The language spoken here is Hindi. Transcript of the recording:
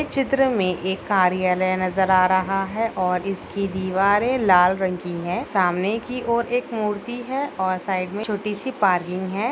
चित्र में एक कार्यालय नजर आ रहा है और इसकी दीवारे लाल रंग की है सामने की और एक मूर्ति है और साइड में छोटी-सी पार्किंग है।